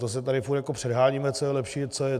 To se tady furt jako předháníme, co je lepší.